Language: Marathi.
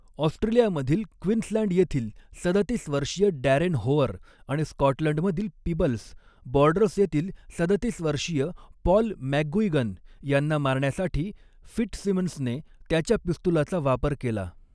ऑस्ट्रेलिया मधील क्वीन्सलँड येथील सदतीस वर्षीय डॅरेन होअर, आणि स्कॉटलंड मधील पीबल्स, बॉर्डर्स येथील सदतीस वर्षीय पॉल मॅकगुइगन यांना मारण्यासाठी फिट्सिमन्सने त्याच्या पिस्तुलाचा वापर केला.